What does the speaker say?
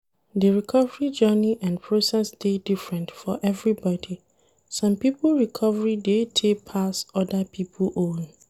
Di recovery journey and process dey different for everybody, some pipo recovery dey tey pass oda pipo own